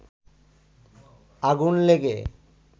আগুন লেগে